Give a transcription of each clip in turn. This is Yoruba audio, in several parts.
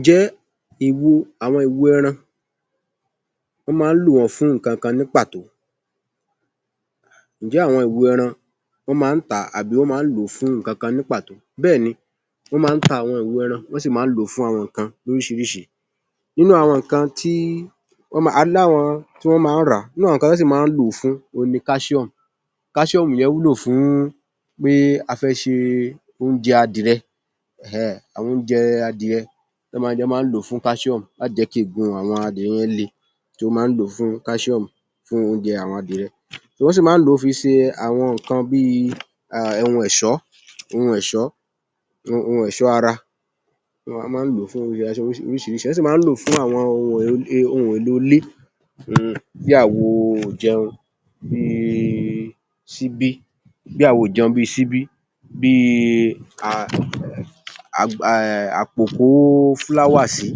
Ǹjẹ́ àwọn ìwo ẹran, wọ́n máa ń lò wọ́n fún nǹkan kan ní pàtó? Ǹjẹ́ àwọn ìwo ẹran, wọ́n máa ń tà á tàbí lò ó fún nǹkan kan ní pàtoh? Bẹ́ẹ̀ ni. Wọ́n máa ń ta àwọn ìwo ẹran, wọ́n sì máa ń lò ó fún àwọn nǹkan lóríṣiríṣi. A ní àwọn kan tí wọ́n máa ń rà á. Nínú àwọn nǹkan tí wọ́n sì máa ń lò ó fún òhun calcium. Calcium yẹn wúlò fún pé a fẹ́ ṣe oúnjẹ adìẹ. Àwọn oúnjẹ adìẹ ní wọ́n máa ń lò ó fún calcium láti jẹ́ kí egungun àwọn adìẹ le ni wọ́n máa ń lò ó fún calcium fún àwọn oúnjẹ adìẹ. Ọ́ sì máa ń lò ó fi ṣe àwọn nǹkan bí i ohun ẹ̀ṣọ́ ara. Wọ́n máa ń lò ó fún oríṣiríṣi. Wọ́n sì máa ń lò ó fún àwọn ohun èlò ilé bí àwo ìjẹun, bí i síbí, bí i àpọ̀ ìkó flower sí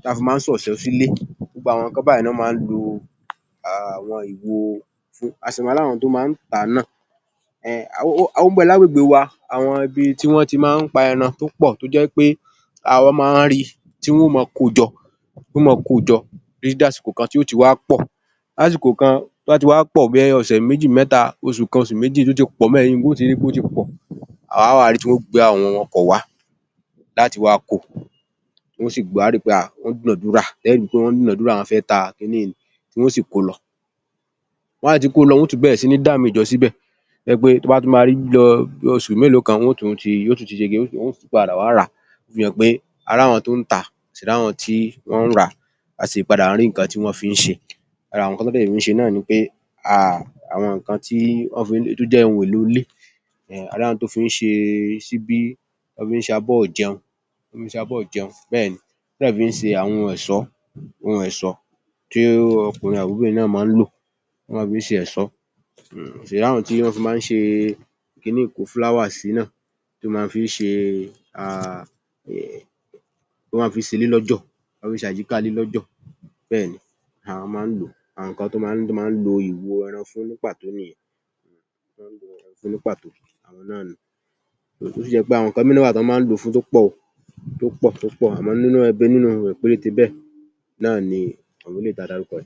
tí a fi ń kó ẹ̀sọ́ sílé. Ó ń bẹ ní àgbègbè wa. Àwọn ibi tí wọ́n ti máa ń pa ẹran tó pọ̀. A máa n ́ rí i tí wọ́n ó máa kojọ wọ́n ó máa kojọ títí di àsìkò kan tí yóò ti wá pọ̀. Ní àsìkò kan tí ó bá ti wá pọ̀ bẹ́ẹ̀ bí i ọ̀sẹ̀ méjì mẹ́ta, oṣù kan, oṣù méjì tó ti pọ̀ bẹ́ẹ̀, ẹ̀yìn gan-an ó ti rí i tí ó ti pọ̀. Á wàá rí i tí wọ́n ó gba àwọn ọkọ̀ un wá láti wah kó o. Wọ́n yóò sì dúnàádúrà. Ẹ́ rí i pé wọ́n ń dúnàádúrà wọ́n fẹ́ ta kí ní yìí ni, tí wọ́n óò sì ko lọ. Tí wọ́n bá ti ko lọ, wọ́n óò tún bẹ̀rẹ̀ sí i dá míì jọ síbẹ̀ tó jẹ́ pé tí a bá tún máa rí lọ bí i oṣù mélòó kan, wọ́n ó tún ṣe kí ni, wọ́n á tún padà wá rà á. Ó fi hàn pé a rá wọn tó ń tà á, a sì rá wọn tí ó ń rà á, a sì rí nǹkan tí wọ́n ń fi ṣe. Ara nǹkan tí wọ́n fi ń ṣẹ náà ni pé àwọn nǹkn tí ó jẹ́ ohun èlò ilé. A rí àwọn tọ́ fi ń ṣe ṣíbí, ọ́ fi ń ṣe abọ́ ìjẹun. Ọ́ dẹ̀ fi ń ṣe àwọn ẹ̀sọ́ tí ọkùnrin àbí obìnrin náà máa ń lò. Ọ́ fi ń ṣe ẹ̀sọ́. A rí àwọn tọ́ fi máa ń ṣe ki ní ìkó-òdòdó-sí. Tí wọ́n fi ń ṣe ilé lọ́jọ̀. Wọ́n fi ń ṣe àyíkáalé lọ́jọ̀. Bẹ́ẹ̀ ni, ọ́ máa ń lò ó. Àwọn nǹkan ttí wọ́n máa lo ìwo ẹran fún ní pàtó nìyẹn. Ní pàtó, awọn náà nù-un. Ó sì jẹ́ pé àwọn nǹkan míì náà wà tọ́ máa ń lò ó fún tó pọ̀ tó pọ̀ tó pọ̀, Awọn náà ni.